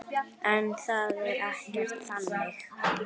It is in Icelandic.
En það er ekkert þannig.